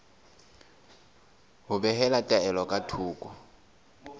ho behela taelo ka thoko